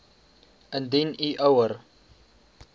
indien u ouer